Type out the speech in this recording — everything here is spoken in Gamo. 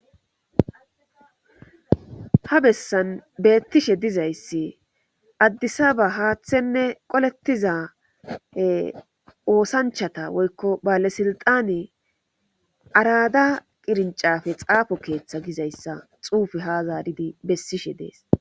Ha bessan beettishe dizayssi addisaba haaththenne qolettiza oosanchata woykko bale silxani arada qirincafe xaafo keeththa gizayssa xuufe ha zaaridi bessishe dees.